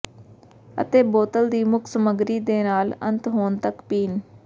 ਅਤੇ ਬੋਤਲ ਦੀ ਮੁੱਖ ਸਮੱਗਰੀ ਦੇ ਨਾਲ ਅੰਤ ਹੋਣ ਤੱਕ ਪੀਣ